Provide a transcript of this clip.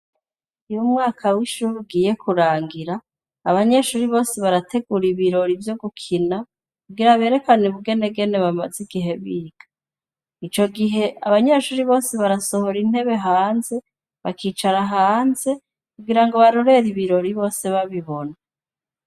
Iyo umwaka w'ishura ugiye kurangira abanyeshuri bose barategura ibirori vyo gukina kugira aberekane ubugenegene bamaze igihe biga ico gihe abanyeshuri bose barasohora intebe hanze bakicara hanze kugira ngo barorere ibirori bose babibona.